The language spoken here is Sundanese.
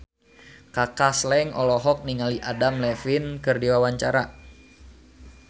Kaka Slank olohok ningali Adam Levine keur diwawancara